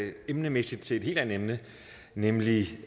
vi emnemæssigt til noget helt andet nemlig